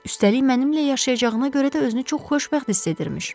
Üstəlik mənimlə yaşayacağına görə də özünü çox xoşbəxt hiss edirmiş.